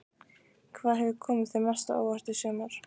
Hvað hefur komið þér mest á óvart í sumar?